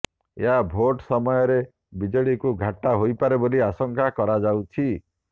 ଏହା ଭୋଟ୍ ସମୟରେ ବିଜେଡିକୁ ଘାଟା ହୋଇପାରେ ବୋଲି ଆଶଙ୍କା କରାଯାଉଛି